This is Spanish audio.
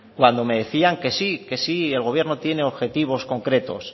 cuando me decían que sí que el gobierno tiene objetivos concretos